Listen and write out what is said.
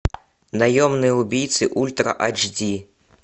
наемные убийцы ультра айч ди